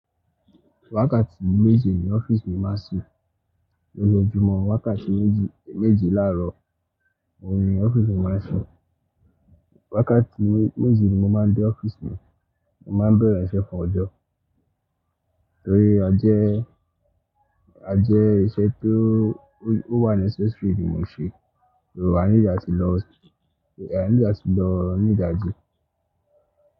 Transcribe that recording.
Wákàtí méje ni ọ́fíìsì mi máa ṣí. Wákàtí méje ni ọ́fíìsì mi máa ṣí. Wákàtí méjì ni mo máa dé ọ́fíìsì mi. Mo máa bẹ̀rẹ̀ iṣẹ́ kan ọjọ́, torí a jẹ a jẹ iṣẹ́ tó ó wà ní necessary bí mo ṣe, torí a ní ìlo lati lọ, a ní ìjà ti lọ ní ìdajì.